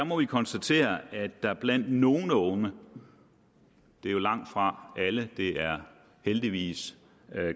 må konstatere at der blandt nogle unge det er jo langtfra alle det er heldigvis